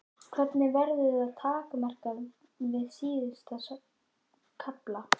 Hvernig verður það takmarkað við síður og kafla?